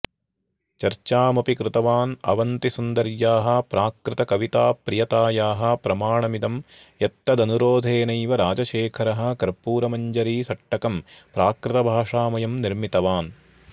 चर्चामपि कृतवान् अवन्तिसुन्दर्याः प्राकृतकविताप्रियतायाः प्रमाणमिदं यत्तदनुरोधेनैव राजशेखरः कर्पूरमञ्जरीसट्टकं प्राकृतभाषामयं निर्मितवान्